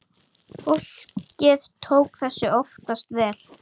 Fólkið tók þessu oftast vel.